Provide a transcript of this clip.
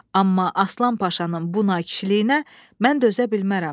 Amma Aslan Paşanın bu nakişiliyinə mən dözə bilmərəm.